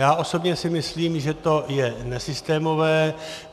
Já osobně si myslím, že to je nesystémové.